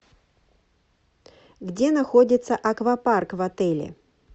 где находится аквапарк в отеле